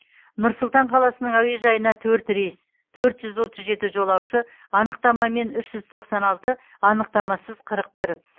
нұр сұлтан қаласының әуежайына төрт рейс төрт жүз отыз жеті жолаушы анықтамамен үш жүз тоқсан алты анықтамасыз қырық бір